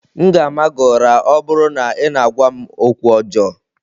M ga-ama gị ụra, ọ bụrụ na ị na-agwa m okwu ọjọọ.